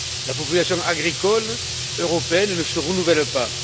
La population agricole européenne ne se renouvelle pas.